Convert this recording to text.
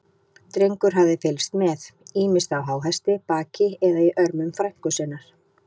Drengur hafði fylgst með, ýmist á háhesti, baki eða í örmum frænku sinnar.